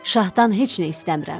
Şahdan heç nə istəmirəm.